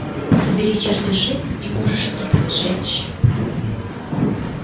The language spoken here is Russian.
собери чертежи и можешь их сжечь